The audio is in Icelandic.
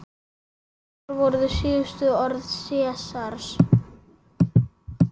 Hver voru síðustu orð Sesars?